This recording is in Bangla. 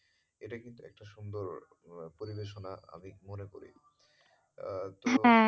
এটা কিন্তু একটা সুন্দর পরিবেশনা আমি মনে করি আহ